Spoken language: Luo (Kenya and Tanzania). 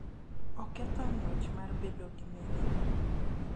Oketho ng�wech mar bedo gi mirima,